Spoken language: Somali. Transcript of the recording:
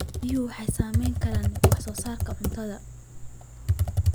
Biyuhu waxay saamayn karaan wax soo saarka cuntada.